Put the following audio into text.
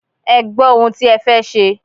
Ẹ gbọ́ ohun tí ẹ fẹ́ ṣe.